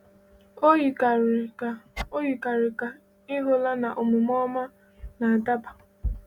O yikarịrị ka O yikarịrị ka ị hụla na omume ọma na-adaba.